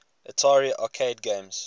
atari arcade games